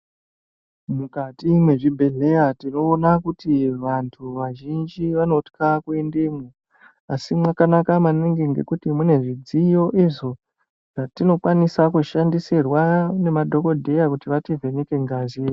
Mukati mwezvibhedhleya tinoona kuti vantu vazhinji vanotya kuendemwo asi mwakanaka maningi nekuti munezvidziyo izvo zvatinokona kushandisirwa nemadhokodheya kuti vativheneke ngazi.